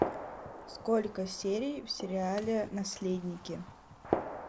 сколько серий в сериале наследники